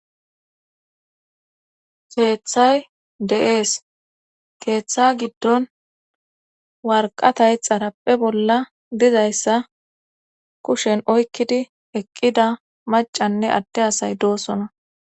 Keeththay de7ees keeththa giddon warqatay xarappe bolla dizayssa kushen oykkidi eqqida macanne adte asay doosona